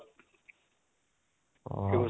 অহ